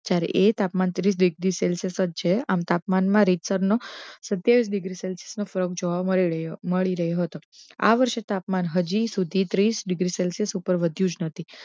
જ્યારે એ તાપમાન ત્રીસ ડિગ્રી સેલ્શીયસ જ છે આમ તાપમાન મા રીતસર નો સતીયાવીસ ડિગ્રી સેલ્શીયસ મળી રહ્યો હતો આ વષૅ એ તાપમાન હજી સુધી ત્રીસડિગ્રી સેલ્શીયસ સુધી વધ્યો જ નથી